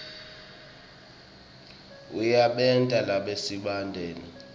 iyasebenta nasemaphalamende